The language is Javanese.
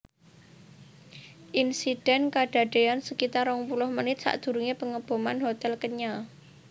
Insiden kadadean sekitar rong puluh menit sakdurunge Pengeboman hotel Kenya